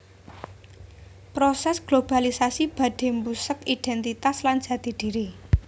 Prosès globalisasi badhé mbusek idhéntitas lan jati dhiri